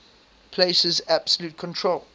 places absolute control